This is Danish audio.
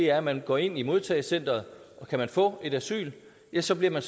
er at man går ind i modtagecentret og kan man få asyl ja så bliver